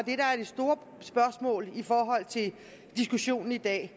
det store spørgsmål i forhold til diskussionen i dag